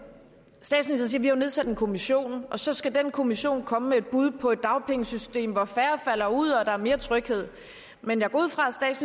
siger nedsat en kommission og så skal den kommission komme med et bud på et dagpengesystem hvor færre falder ud og der er mere tryghed men jeg går ud fra